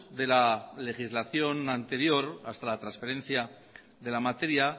de la legislación anterior hasta la transferencia de la materia